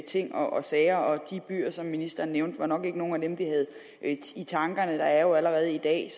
ting og sager og de byer som ministeren nævnte var nok ikke nogen af dem vi havde i tankerne der er jo allerede i dag